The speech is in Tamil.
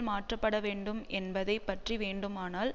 மாற்றப்பட வேண்டும் என்பதை பற்றி வேண்டுமானால்